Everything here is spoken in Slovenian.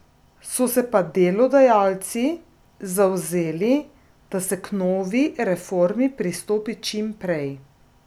So se pa delodajalci zavzeli, da se k novi reformi pristopi čim prej.